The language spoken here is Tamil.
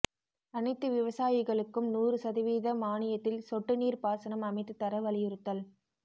அனைத்து விவசாயிகளுக்கும் நூறு சதவீத மானியத்தில் சொட்டுநீா்ப் பாசனம் அமைத்துத் தர வலியுறுத்தல்